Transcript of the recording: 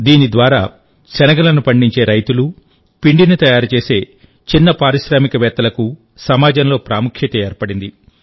దీని ద్వారాశనగలను పండించే రైతులు పిండిని తయారు చేసే చిన్న పారిశ్రామికవేత్తలకు సమాజంలో ప్రాముఖ్యత ఏర్పడింది